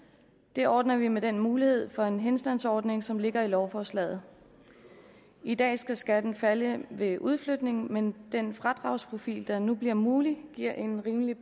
det ordner vi med den mulighed for en henstandsordning som ligger i lovforslaget i dag skal skatten falde ved udflytning men den fradragsprofil der nu bliver mulig giver en rimelig